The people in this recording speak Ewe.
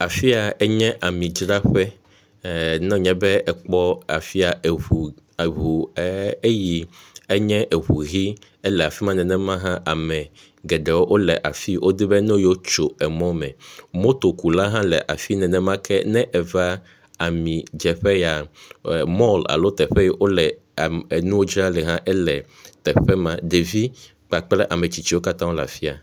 Afi yia enye ami dzraƒe, ne wonye be ekpɔ afi yia eŋu, eŋu vi ,ne wole afi ma nenema la, ame geɖe wole afi, wodzi bene yeawo tso emɔ me, motokula hã afi nenemake ne eve ami dze ƒe yia mɔl alo teƒe yi wole nuwo dzram le hã la, ele teƒe ma, ɖevi kapkple ametsitsiwo katã le afi ya